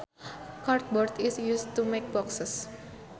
Cardboard is used to make boxes